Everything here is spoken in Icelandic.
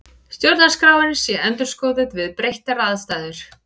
Stjórnarskráin sé endurskoðuð við breyttar aðstæður